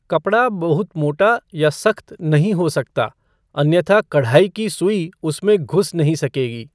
कपड़ा बहुत मोटा या सख्त नहीं हो सकता, अन्यथा कढ़ाई की सुई उसमें घुस नहीं सकेगी।